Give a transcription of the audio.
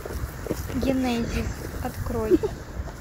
генезис открой